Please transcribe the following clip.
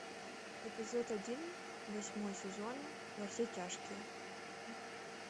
эпизод один восьмой сезон во все тяжкие